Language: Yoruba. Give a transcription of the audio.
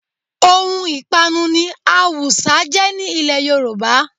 Ohun ìpanu ni awùsá jẹ́ ní ilẹ̀ Yorùbá